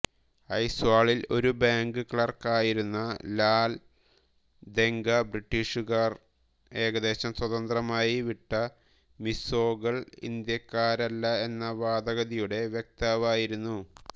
ഐസ്വാളിൽ ഒരു bank clerk ആയിരുന്ന ലാൽദെങ്ക ബ്രിട്ടീഷുകാർ ഏകദേശം സ്വതന്ത്രമായി വിട്ട മിസോകൾ ഇന്ത്യക്കാരല്ല എന്ന വാദഗതിയുടെ വക്താവായിരുന്നു